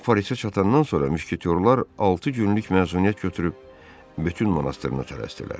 Kral Parisə çatandan sonra müşketyorlar altı günlük məzuniyyət götürüb Betun monastırına tələsdilər.